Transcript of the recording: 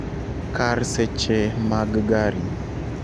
kar seche mag gari